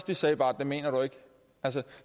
de sagde var det mener du ikke altså